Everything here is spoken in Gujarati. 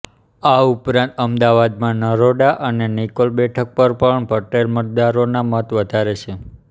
આ ઉપરાંત અમદાવાદમાં નરોડા અને નિકોલ બેઠક પર પણ પટેલ મતદારોના મત વધારે છે